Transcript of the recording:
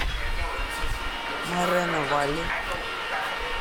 морено валли